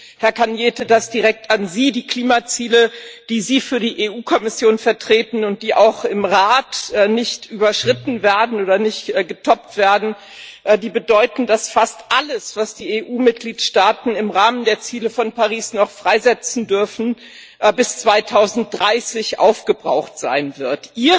Und, Herr Arias Cañete, das direkt an Sie Die Klimaziele, die Sie für die Europäische Kommission vertreten und die auch im Rat nicht überschritten oder nicht getoppt werden, bedeuten, dass fast alles, was die EU Mitgliedstaaten im Rahmen der Ziele von Paris noch freisetzen dürfen, bis 2030 aufgebraucht sein wird.